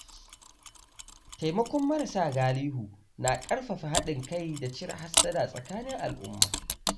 Taimakon marasa galihu na ƙarfafa haɗin kai da cire hassada tsakanin al-umma